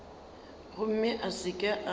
gomme a se ke a